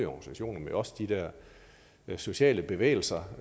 organisationer men også de der sociale bevægelser